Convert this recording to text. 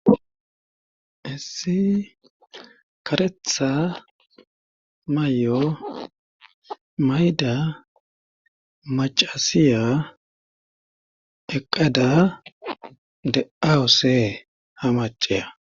hessi karetha mayo mayda macasiya eqada de aose ha maceya.